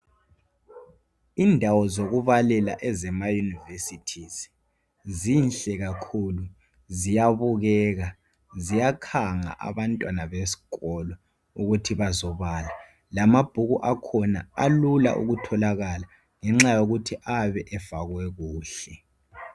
Indawo zokubalela ezemayunivesithi zihle kakhulu ziyabukeka ziyakhanga abantwana besikolo ukuthi bazobala lamabhuku akhona alula ukutholakala ngenxa yokuthi ayabe efakwe kuhle.